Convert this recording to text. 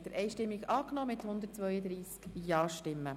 Sie haben diesen Antrag einstimmig mit 132 Ja-Stimmen angenommen.